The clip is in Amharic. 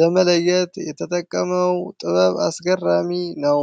ለመለየት የተጠቀመው ጥበብ አስገራሚ ነው።